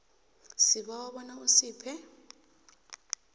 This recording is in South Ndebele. sibawa bona usiphe